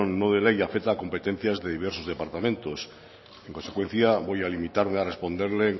no de ley afecta a competencias de diversos departamentos en consecuencia voy a limitarme a responderle